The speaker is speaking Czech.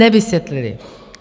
Nevysvětlili.